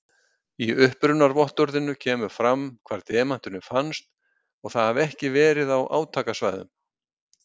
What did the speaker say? Í upprunavottorðinu kemur fram hvar demanturinn fannst og að það hafi ekki verið á átakasvæðum.